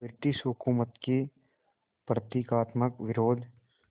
British हुकूमत के प्रतीकात्मक विरोध